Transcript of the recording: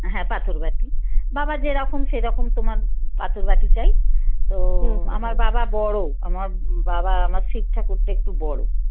হ্যাঁ পাথর বাটি বাবা যেরকম সেরকম তোমার পাথর বাটি চাই তো আমার বাবা বড় আমার বাবা শিব ঠাকুরটা একটু বড়